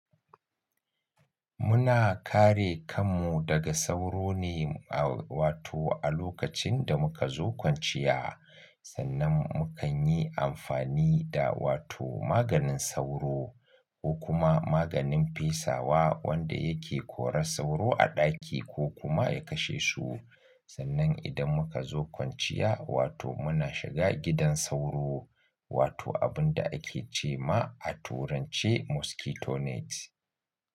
Muna kare kanmu daga sauro ne, wato a lokacin da muka zo kwanciya sannan mu kan yi amfani da wato maganin sauro ko kuma maganin fesawa wanda yake korar sauro a ɗaki ko kuma ya kashe su. Sannan idan muka zo kwanciya wato muna shiga gidan sauro wato abin da ake ce ma a turanci mosquito net.